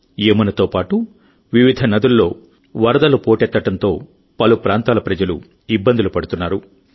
యమునాతో పాటు వివిధ నదుల్లో వరదలు పోటెత్తడంతో పలు ప్రాంతాల ప్రజలు ఇబ్బందులు పడుతున్నారు